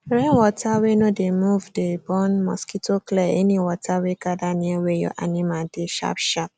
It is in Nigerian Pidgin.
rainwater wey no dey move dey born mosquitoclear any water wey gather near where your animal dey sharpsharp